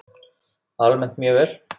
Almennt mjög vel.